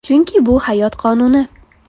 Chunki bu hayot qonuni.